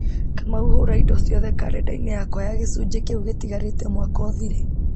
kamau hura indo ciothe karenda-inĩ yakwa ya gĩcũnjĩ kĩu gĩtigarĩte mwaka ũthire